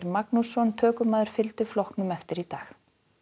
Magnússon tökumaður fylgdu flokknum eftir í dag